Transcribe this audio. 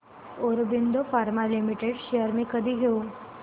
Aurobindo pharma limited shares मी कधी घेऊ